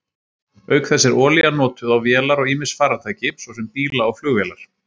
Auk þess er olía notuð á vélar og ýmis farartæki, svo sem bíla og flugvélar.